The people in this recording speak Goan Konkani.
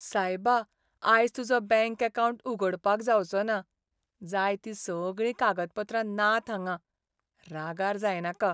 सायबा, आयज तुजो बँक अकावंट उगडपाक जावचो ना. जाय तीं सगळीं कागदपत्रां नात हांगां. रागार जायनाका.